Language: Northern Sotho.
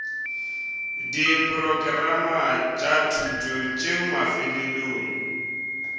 diporokerama tša thuto tšeo mafelelong